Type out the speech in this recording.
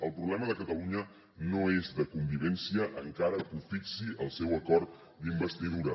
el problema de catalunya no és de convivència encara que ho fixi el seu acord d’investidura